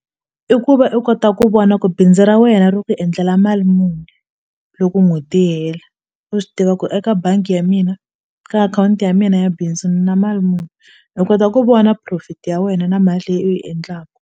I ku va i kota ku vona ku bindzu ra wena ro ti endlela mali muni loko n'hweti yi hela u swi tiva ku eka bangi ya mina ka akhawunti ya mina ya bindzu ni na mali muni i kota ku vona profit ya wena na mali leyi u yi endlaku.